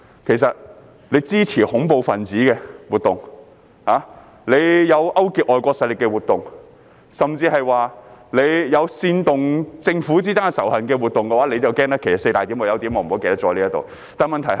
其實，那些支持恐怖分子活動的，有勾結外國勢力活動的，甚至有煽動政府之間仇恨的活動，他們就要害怕——其實有4點的，但我忘記了其中一點。